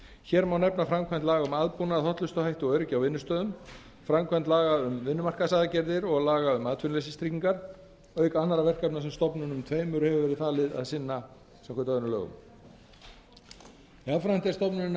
hér má nefna framkvæmd laga um aðbúnað hollustuhætti og öryggi á vinnustöðum framkvæmd laga um vinnumarkaðsaðgerðir og laga um atvinnuleysistryggingar auk annarra verkefna sem stofnununum tveimur hefur verið falið að sinna samkvæmt öðrum lögum jafnframt er stofnuninni